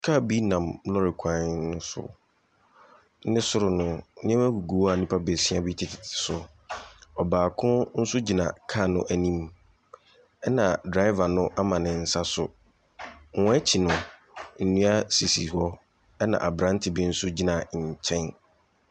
Kaa bi nam lɔɔre kwan so, no soro no nneɛma bi gugu hɔ a nnipa beesia bi tetetete so, ɔbaako nso gyina kaa n’anim. Na driver no ama ne nsa so, wɔ wɔn akyi no, nnua sisi hɔ na aberante bi nso gyina nkyɛn.